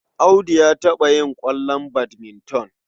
Audu ya taɓa yin ƙwallon badminton.